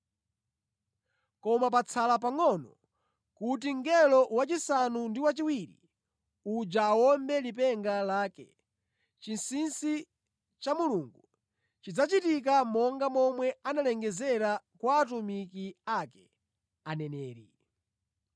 Koma patsala pangʼono kuti mngelo wachisanu ndi chiwiri uja awombe lipenga lake, chinsinsi cha Mulungu chidzachitika monga momwe analengezera kwa atumiki ake, aneneri.”